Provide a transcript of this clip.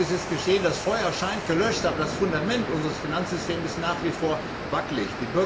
Vieles ist geschehen. Das Feuer scheint gelöscht, aber das Fundament unseres Finanzsystems ist nach wie vor wacklig.